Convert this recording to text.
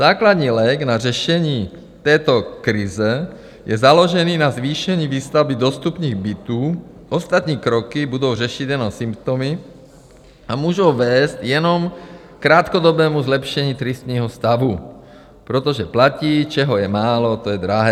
Základní lék na řešení této krize je založený na zvýšení výstavby dostupných bytů, ostatní kroky budou řešit jenom symptomy a můžou vést jenom krátkodobému zlepšení tristního stavu, protože platí: čeho je málo, to je drahé.